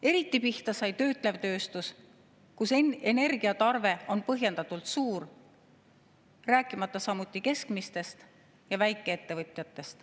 Eriti sai pihta töötlev tööstus, kus energiatarve on põhjendatult suur, rääkimata keskmistest ja väikeettevõtjatest.